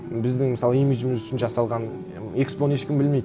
біздің мысалы имиджіміз үшін жасалған экспоны ешкім білмейді